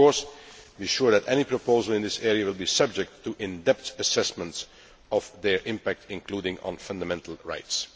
The House can be sure that any proposal in this area will be subject to an in depth assessment of their impact, including on fundamental rights.